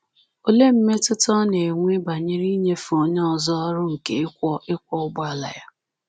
Olee mmetụta ọ na-enwe banyere inyefe onye ọzọ ọrụ nke ịkwọ ịkwọ ụgbọala ya?